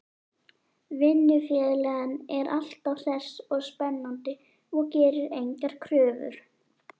Vinnufélaginn er alltaf hress og spennandi og gerir engar kröfur.